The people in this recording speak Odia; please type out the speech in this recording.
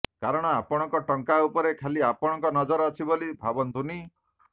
କାରଣ ଆପଣଙ୍କ ଟଙ୍କା ଉପରେ ଖାଲି ଆପଣଙ୍କ ନଜର ଅଛି ବୋଲି ଭାବନ୍ତୁନି